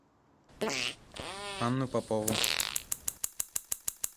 анну попову